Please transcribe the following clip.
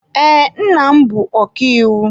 Ee, nna m bụ ọkàiwu.